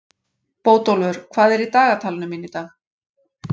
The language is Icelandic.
Bótólfur, hvað er í dagatalinu mínu í dag?